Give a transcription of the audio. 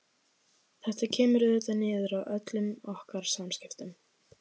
Þetta kemur auðvitað niður á öllum okkar samskiptum.